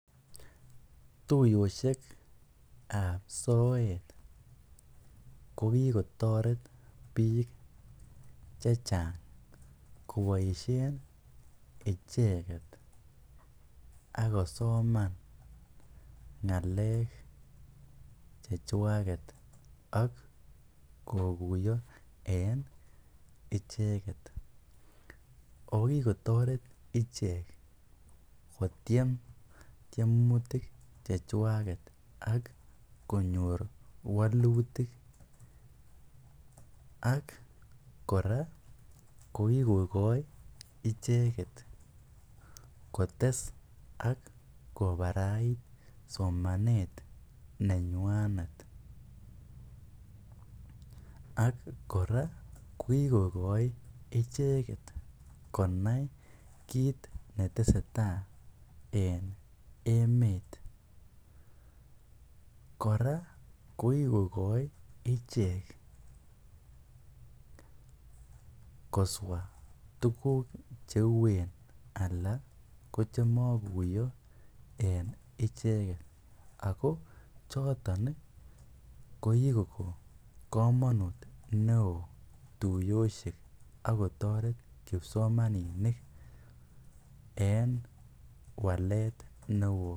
Tuyoshekab soet ko kikotoret biik chechang koboishen icheket ak kosoman ngalek chechwaket ak kokuiyo en icheket, oo kikotoret ichek kotiem tiemutik chechwaket ak konyor wolutik ak kora ko kikokoi icheket kotes ak kobarait somanet nenywanet ak kora ko kikokoi icheket konai kiit neteseta en emet, kora ko kikokoi ichek koswaa tukuk cheuen alaa ko chemokuiyo en icheket ak ko choton ko kikoko komonut neoo tuyoshek ak kotoret kipsomaninik en walet neoo.